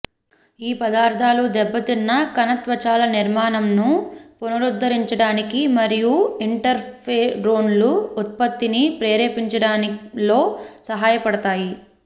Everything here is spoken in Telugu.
ఈ పదార్థాలు దెబ్బతిన్న కణ త్వచాల నిర్మాణంను పునరుద్ధరించడానికి మరియు ఇంటర్ఫెరోన్ల ఉత్పత్తిని ప్రేరేపించడంలో సహాయపడతాయి